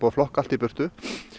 að flokka allt í burtu